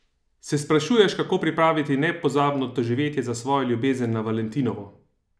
Se sprašuješ, kako pripraviti nepozabno doživetje za svojo ljubezen na Valentinovo?